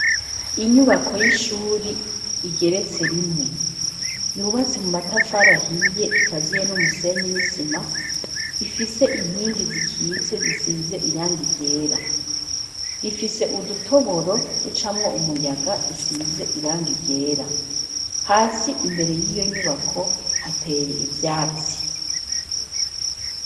Inyubako y'ishuri igeretse rimwe yubatse mu matafaraahiye ikaziye n'umusenye nisima ifise inkingi zikitse zisize iranga igera rifise udutoboro ducamwo umuyaga dusize iranga igera hasi imbere y'iyo nyubako hateye ivyatsi.